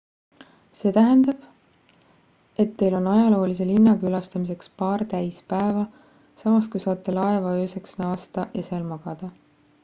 see tähendab et teil on ajaloolise linna külastamiseks paar täis päeva samas kui saate laeva ööseks naasta ja seal magada